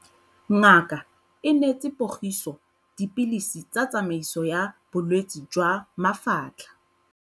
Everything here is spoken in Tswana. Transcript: Ngaka e neetse Pogiso dipilisi tsa tshiamiso ya bolwetse jwa mafatlha.